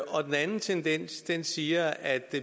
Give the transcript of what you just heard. og den anden tendens er at man siger at